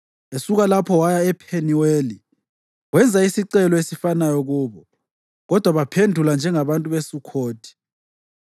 Esuka lapho waya ePheniweli, wenza isicelo esifanayo kubo, kodwa baphendula njengabantu beSukhothi.